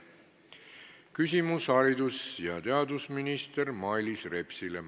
Küsimus haridus- ja teadusminister Mailis Repsile.